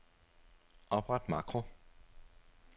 Opret makro.